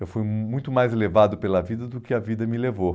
Eu fui muito mais levado pela vida do que a vida me levou.